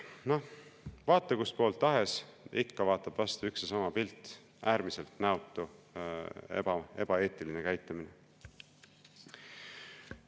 No vaata kust poolt tahes, ikka vaatab vastu üks ja sama pilt: äärmiselt näotu ja ebaeetiline käitumine.